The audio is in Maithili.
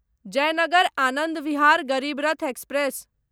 जयनगर आनन्द विहार गरीब रथ एक्सप्रेस